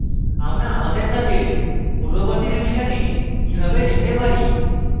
আমরা আমাদের কাজের পূর্ববর্তী revision কিভাবে যেতে পারি